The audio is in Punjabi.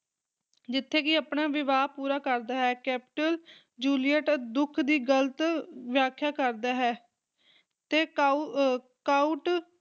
ਜਿੱਥੇ ਕੀ ਆਪਣਾ ਵਿਵਾਹ ਪੂਰਾ ਕਰਦਾ ਹੈ, ਕੈਪੁਲੇਟ, ਜੂਲੀਅਟ ਦੁੱਖ ਦੀ ਗਲਤ ਵਿਆਖਿਆ ਕਰਦਾ ਹੈ, ਤੇ ਕਉ ਅਹ ਕਾਉਂਟ